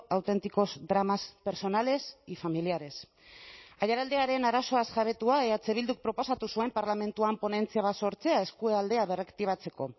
auténticos dramas personales y familiares aiaraldearen arazoaz jabetua eh bilduk proposatu zuen parlamentuan ponentzia bat sortzea eskualdea berraktibatzeko